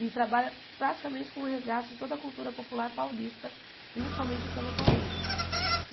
E trabalha praticamente com o resgate de toda a cultura popular paulista, principalmente o samba paulista.